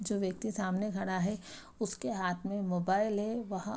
जो व्यक्ति सामने खड़ा है उसके हाथ में मोबाइल है वहां --